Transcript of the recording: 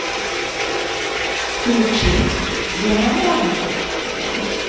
включить диамона